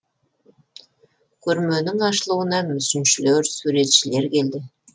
көрменің ашылуына мүсіншілер суретшілер келді